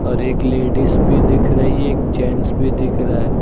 और एक लेडिस भी दिख रही है एक जेंट्स भी दिख रहा।